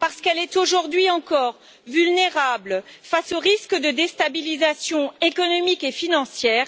Parce qu'elle est, aujourd'hui encore, vulnérable face aux risques de déstabilisation économique et financière,